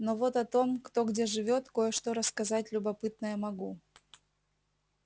но вот о том кто где живёт кое-что рассказать любопытное могу